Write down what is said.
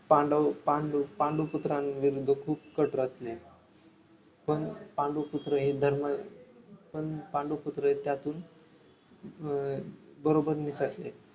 पांडव पांडू पांडू पुत्रांविरुद्ध खूप कट रचले पण पांडू पुत्र हे धर्म पण पांडू पुत्र हे त्यातून अं बरोबर निसटले